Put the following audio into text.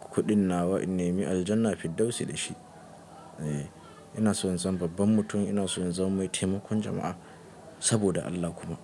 kuɗin nawa in ne mi aljana fiddausi da shi. Eh inason in zama babban mutum inaso in zama mai temakon jama'a, sabado Allah kuma.